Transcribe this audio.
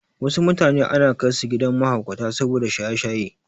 Wasu mutanen ana kaisu gidan mahaukata saboda shaye-shaye.